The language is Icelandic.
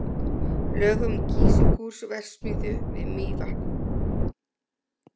Lög um Kísilgúrverksmiðju við Mývatn.